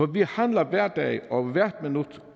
vi handler hver dag og hvert minut